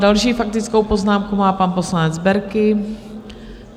Další faktickou poznámku má pan poslanec Berki.